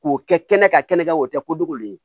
K'o kɛ kɛnɛ ka kɛnɛ kan o tɛ kojugu de ye